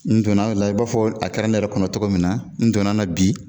N donna la, i b'a fɔ a kɛra ne yɛrɛ kɔnɔ cogo min na, n donna na bi